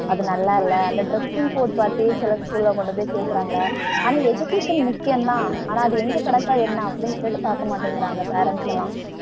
அது நல்லா இல்ல அந்த dressing code பாத்தே சில school ல கொண்டு போயி சேர்க்கறாங்க. ஆனா education முக்கியந்தான் ஆனா அது எங்க கிடைச்சா என்ன அப்படின்னு சொல்லிட்டு பாக்கமாட்டேங்கறாங்க parents லாம்